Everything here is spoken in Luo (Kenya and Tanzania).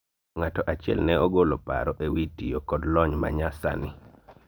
ng'ato achiel ne ogolo paro ewi tiyo kod lony ma nya sani